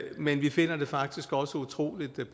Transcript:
men vi finder det faktisk også utrolig